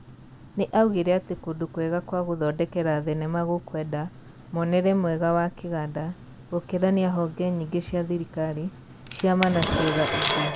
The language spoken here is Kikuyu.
Nĩ augire atĩ kũndũ kwega kwa gũthondekera thenema gũkwenda, muonere mwega wa kĩganda, gũkĩrania honge nyingĩ cia thirikari, ciama na ciiga ingĩ.